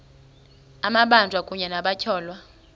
amabanjwa kunye nabatyholwa